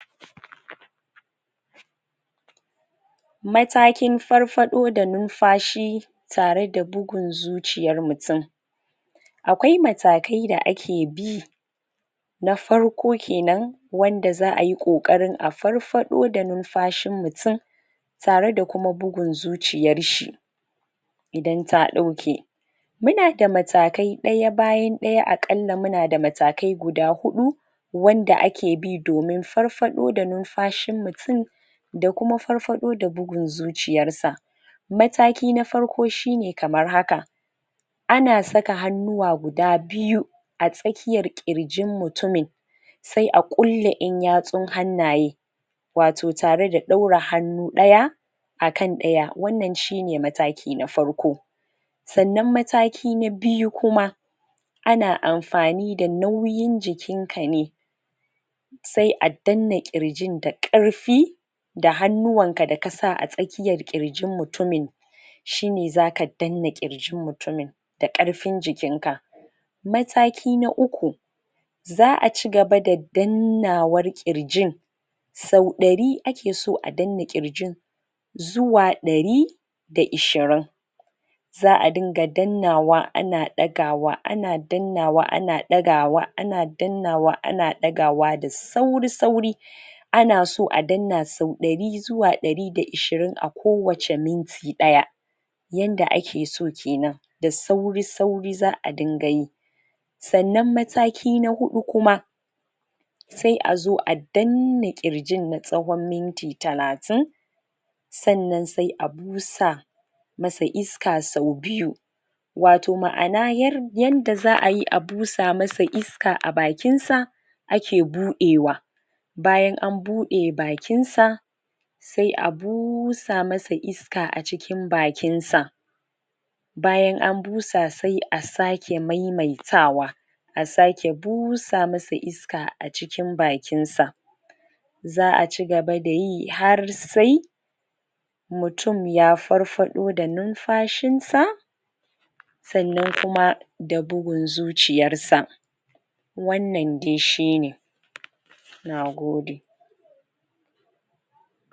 matakin farfado da ninfashi tare da bugun zuciyan mutun akwai mataken da ake bi na farko kenan wanda zaayi kokarin a farfado da ninfashin mutun tare da kuma bugun zuciyar shi idan ta dauke muna da matakai daya bayan daya, a kalla muna da matakai guda hudu wanda ake, domin farfado da, nimfashin mutun da kuma farfado da bugun zuciyar sa mataki na farko shine kaman haka ana saka hannuwa, guda biyu a tsakiyan kirjin mutu min sai a kulle yan yatsun hannaye wato tare da daura hanu daya akan daya, wannna shine mataki na farko san nan mataki na biyu kuma ana anfani da nauyin jikin ka ne sai a dan na kirjin da karfi da hannuwan sa da kasa a jikin mutumin shine zaka dan na girjin mutunmin da karfin jikin ka mataki na uku za a ci gaba da dannawan kirjin sau dari ake so a dan nan kirjin zuwa dari da ishirin za a dinka dannawa ana dagawa ana dannawa ana dagawa, ana dannawa ana dagawa da sauri sauri ana so a dan na sau dari zuwa dari da ishirin ko wacce minti daya yadda nace so kenan da sauri sauri za a rinka yi san nan mataki na hudu kuma sai a zo a dan na kirjin na tsahon minti talatin san nan sai a busa masa iska sau biyu wato maana yadda zaayi a busa masa iska a bakinsa ake budewa, bayan an bude bakinsa sai a busa masa iska, a cikin bakin sa bayan an busa sai a sake maimaitawa a sake busa masa iska a cikin bakin sa zaa ci gaba da yi har sai mutun ya farfado da nimfashin sa san nan kuma da bugun zuciyarsa wan nan dai shine na gode